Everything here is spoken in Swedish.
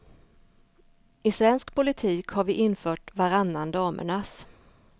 I svensk politik har vi infört varannan damernas.